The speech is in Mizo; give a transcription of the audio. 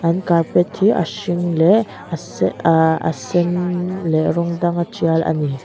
an carpet hi a hring leh aaa se aa a sen leh rawng danga tial ani.